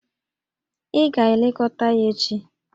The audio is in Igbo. Ị ga-elekọta ya echi!